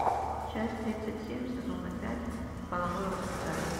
часть тридцать семь сезона пять половое воспитание